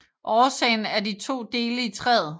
Årsagen er de to dele i træet